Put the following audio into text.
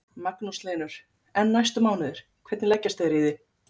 Magnús Hlynur: En næstu mánuðir, hvernig leggjast þeir í þig?